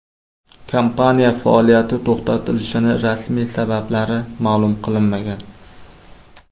Kompaniya faoliyati to‘xtatilishining rasmiy sabablari ma’lum qilinmagan.